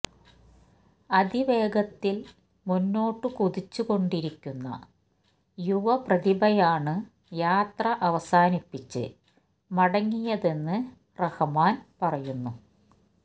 അതിവേഗത്തില് മുന്നോട്ടു കുതിച്ചു കൊണ്ടിരിക്കുന്ന യുവ പ്രതിഭയാണ് യാത്ര അവസാനിപ്പിച്ച് മടങ്ങിയതെന്ന് റഹ്മാന് പറയുന്നു